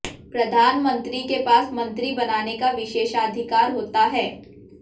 प्रधानमंत्री के पास मंत्री बनाने का विशेषाधिकार होता है